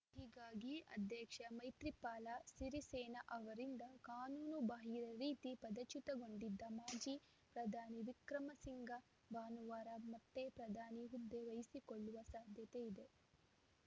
ಹೀಗಾಗಿ ಅಧ್ಯಕ್ಷ ಮೈತ್ರಿಪಾಲ ಸಿರಿಸೇನಾ ಅವರಿಂದ ಕಾನೂನು ಬಾಹಿರ ರೀತಿ ಪದಚ್ಯುತಗೊಂಡಿದ್ದ ಮಾಜಿ ಪ್ರಧಾನಿ ವಿಕ್ರಮಸಿಂಘ ಭಾನುವಾರ ಮತ್ತೆ ಪ್ರಧಾನಿ ಹುದ್ದೆ ವಹಿಸಿಕೊಳ್ಳುವ ಸಾಧ್ಯತೆ ಇದೆ